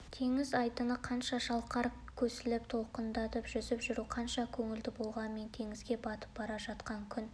теңіз айдыны қанша шалқар көсіліп толқындарда жүзіп жүру қанша көңілді болғанмен теңізге батып бара жатқан күн